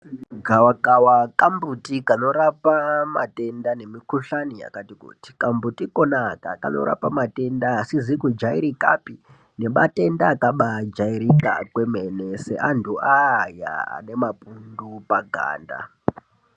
Gawakawa kambuti kanorapa matenda nemikuhlani yakati kuti. Kambuti kona aka kanorapa matenda asizi kujairikapi ngematenda akabajairika kwemene seantu aya ane mapundu paganda.